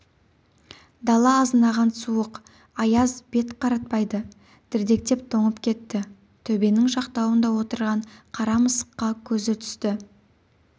дала азынаған суық аяз бет қаратпайды дірдектеп тоңып кетті төбенің жақтауында отырған қара мысыққа көзі түсті